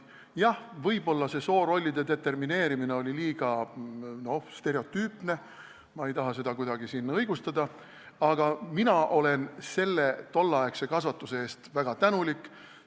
Jah, võib-olla see soorollide determineerimine oli liiga stereotüüpne, ma ei taha seda siin kuidagi õigustada, aga mina olen tolleaegse kasvatuse eest väga tänulik.